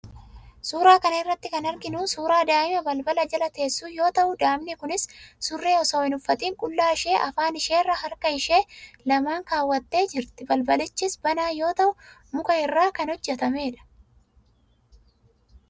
Suuraa kana irratti kan arginu suuraa daa'imaa balbala jala teessu yoo ta'u, daa'imni kunis surree osoo hin uffatiin qullaa ishee afaan isheerra harka ishee lamaan keewwattee jirti. Balbalichis banaa yoo ta'u, muka irraa kan hojjetamedha.